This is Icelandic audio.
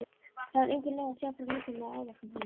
Það var engin leið að segja frá líkamlegum áverkum heima.